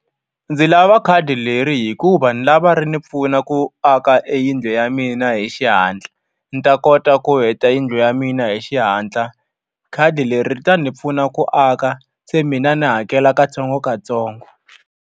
Ndzi lava khadi leri hikuva ni lava ri ni pfuna ku aka e yindlu ya mina hi xihatla. Ni ta kota ku heta yindlu ya mina hi xihatla. Khadi leri ri ta ni pfuna ku aka, se mina ni hakela katsongokatsongo.